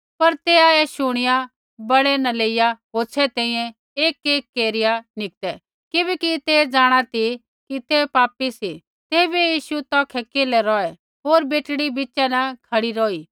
पर तैआ ऐ शुणिया बड़ै न लेइया होछ़ै तैंईंयैं एकएक केरिया निकतै किबैकि तै जाँणा ती कि तै पापी सी तैबै यीशु तौखै केल्है रौहै होर बेटड़ी बिच़ा न खड़ी रौही